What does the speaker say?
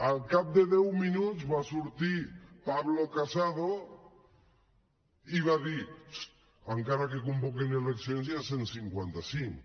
al cap de deu minuts va sortir pablo casado i va dir encara que convoquin eleccions hi ha cent i cinquanta cinc